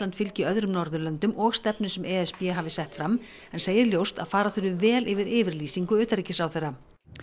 fylgi öðrum Norðurlöndum og stefnu sem e s b hafi sett fram en segir ljóst að fara þurfi vel yfir yfirlýsingu utanríkisráðherra